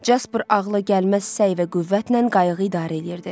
Jasper ağla gəlməz səy və qüvvətlə qayığı idarə eləyirdi.